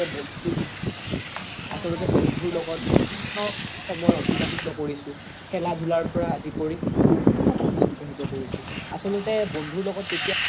হয় আচল্তে বন্ধু লগত বিভিন্ন সময় এতিবাহিত কৰিছো খেলা ধুলাৰ পৰা আদি কৰি বিভিন্ন সময় এতিবাহিত কৰিছো আচল্তে বন্ধু লগত যেতিয়া